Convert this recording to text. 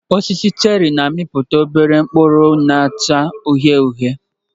Osisi cheri na-amịpụta obere mkpụrụ na-acha uhie uhie